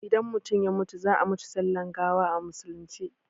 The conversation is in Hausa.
Idan mutum ya mutu za ai mishi sallan gawa a musulunce